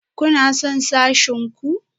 Kuna son sashen ku?